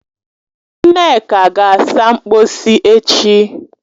Nneka ga-asa mkposi echi